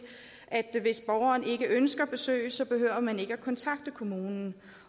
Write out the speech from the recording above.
at hvis borgeren ikke ønsker besøg behøver man ikke at kontakte kommunen